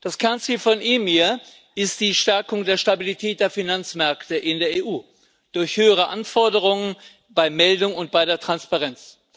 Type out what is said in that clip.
Das Kernziel von EMIR ist die Stärkung der Stabilität der Finanzmärkte in der EU durch höhere Anforderungen bei Meldung und bei der Transparenz.